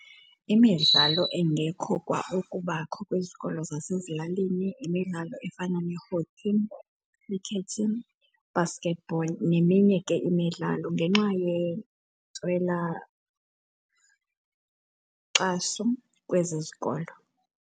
Imidlalo engekho kwa ukubakho kwizikolo zasezilalini yimidlalo efana ne-hockey, khrikethi, basketball neminye ke imidlalo, ngenxa yentswela nkxaso kwezi zikolo.